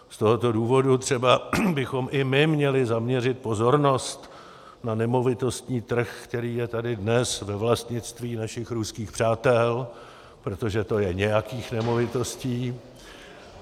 Z tohoto důvodu třeba bychom i my měli zaměřit pozornost na nemovitostní trh, který je tady dnes ve vlastnictví našich ruských přátel, protože to je nějakých nemovitostí.